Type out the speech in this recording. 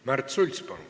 Märt Sults, palun!